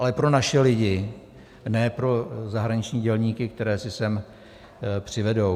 Ale pro naše lidi, ne pro zahraniční dělníky, které si sem přivedou.